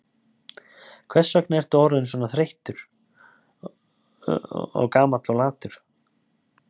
Hvers vegna ertu orðinn svona breyttur og þreyttur og gamall og latur?